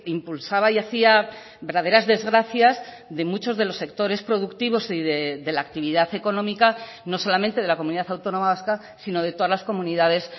impulsaba y hacía verdaderas desgracias de muchos de los sectores productivos de la actividad económica no solamente de la comunidad autónoma vasca sino de todas las comunidades